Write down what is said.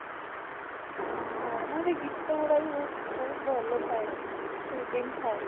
ଓ ହୋ ନାଇଁ ନାଇଁ ଗୀତ ଗୁଡା ବି ବହୁତ ବହୁତ ଭଲ ଥାଏ, soothing ଥାଏ